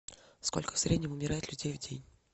сколько в среднем умирает людей в день